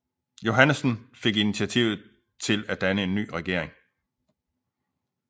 Johannesen fik initiativet til at danne ny regering